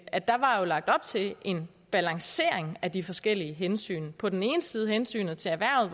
at der var lagt op til en balancering af de forskellige hensyn på den ene side hensynet til erhvervet